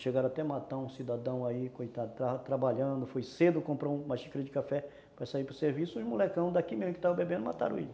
Chegaram até matar um cidadão aí, coitado, trabalhando, foi cedo, comprou uma xícara de café para sair para o serviço e os molecão daqui mesmo, que estavam bebendo, mataram ele.